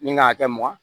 Min kan ka hakɛ mɔn